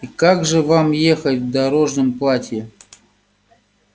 и как же вам ехать в дорожном платье